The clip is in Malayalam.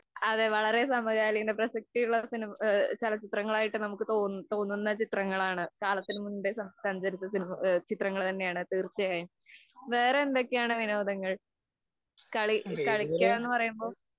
അതേ, വളരെ സമകാലീന പ്രസക്തിയുള്ള സിനിമ ചലച്ചിത്രങ്ങളായിട്ടു തോന്നും തോന്നുന്ന ചിത്രങ്ങളാണ്‌ കാലത്തിനു മുമ്പേ സഞ്ചരിച്ച ചിത്രങ്ങള്‍ തന്നെയാണ്, തീര്‍ച്ചയായും. വേറെ എന്തൊക്കെയാണ് വിനോദങ്ങള്‍. കളി കളിക്കുക എന്ന് പറയുമ്പോള്‍